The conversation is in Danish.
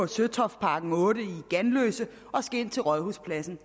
søtoftparken otte i ganløse og skal ind til rådhuspladsen